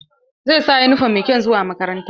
Zai sa yunifom mai kyau zuwa makaranta.